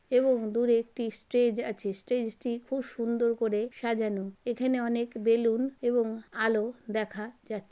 এবং দূরে একটি স্ট্রেজ আছে। স্ট্রেজ টি খুব সুন্দর করে সাজানো। এখানে অনেক বেলুন এবং আলো দেখা যা--